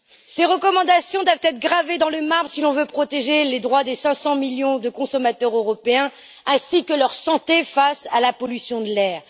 Ces recommandations doivent être gravées dans le marbre si l'on veut protéger les droits des 500 millions de consommateurs européens ainsi que leur santé face à la pollution de l'air.